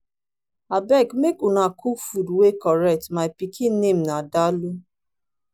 abeg make una cook food wey correct my pikin name be dalu